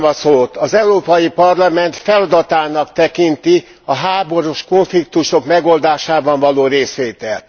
Köszönöm a szót. Az Európai Parlament feladatának tekinti a háborús konfliktusok megoldásában való részvételt.